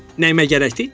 Nəyimə gərəkdir?